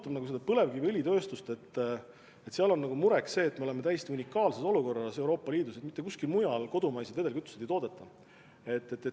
Aga mis puudutab põlevkiviõlitööstust, siis seal on mureks see, et me oleme Euroopa Liidus täiesti unikaalses olukorras: mitte kusagil mujal kodumaiseid vedelkütuseid ei toodeta.